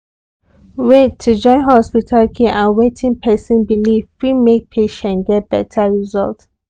wait to join hospital care and wetin person believe fit make patient get better result.